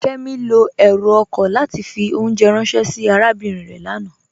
Kẹmi lọ èrú oko látì fì ọ̀unjẹ̀ ránsẹ̀ sí àràbínrin rẹ̀ lánà.